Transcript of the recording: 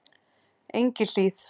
Engihlíð